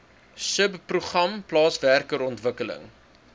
subprogram plaaswerker ontwikkeling